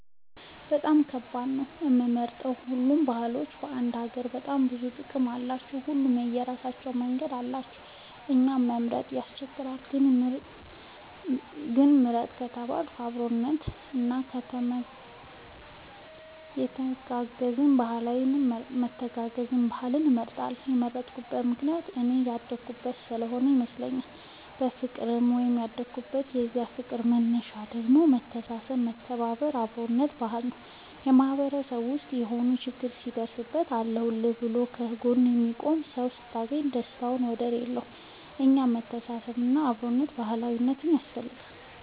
በጣም ከባድ ነው ለመምረጥ ሁሉም ባህሎች ለአንድ ሀገር በጣም ብዙ ጥቅም አላቸው። ሁሉም የራሳቸው መንገድ አላቸው እና ለመምረጥ ያስቸግራል። ግን ምርጥ ከተባልኩ የአብሮነት እና የመተጋገዝ ባህልን እመርጣለሁ የመረጥኩት ምክንያት እኔ ያደኩበት ስሆነ ይመስለኛል። በፍቅር ነው ያደኩት የዛ ፍቅር መነሻው ደግሞ የመተሳሰብ የመተባበር እና የአብሮነት ባህል ነው። በማህበረሰብ ውስጥ የሆነ ችግር ሲደርስብህ አለሁልህ ብሎ ከ ጎንህ የሚቆምልህ ሰው ስታገኝ ደስታው ወደር የለውም። እና የመተሳሰብ እና የአብሮነት ባህል ያስፈልጋል